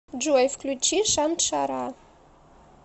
джой включи шаншара